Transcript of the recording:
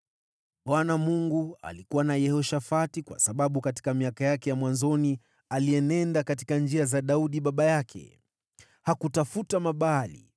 Bwana Mungu alikuwa na Yehoshafati kwa sababu katika miaka yake ya mwanzoni alienenda katika njia za Daudi baba yake. Hakutafuta Mabaali